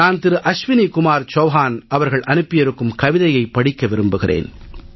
நான் திரு அஸ்வினி குமார் சவுஹான் அவர்கள் அனுப்பியிருக்கும் கவிதையைப் படிக்க விரும்புகிறேன்